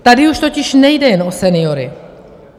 Tady už totiž nejde jen o seniory.